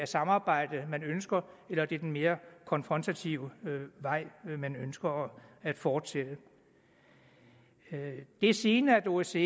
samarbejde man ønsker eller om det er den mere konfrontative vej man ønsker at fortsætte ad det er sigende at osce